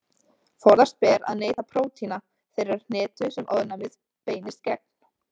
Forðast ber að neyta prótína þeirrar hnetu sem ofnæmið beinist gegn.